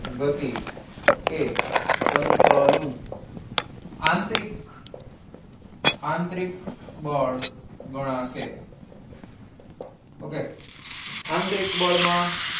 ગતિ એ તંત્રનું આંતરિક આંતરિક બળ ગણાશે okay આંતરિક બળ માં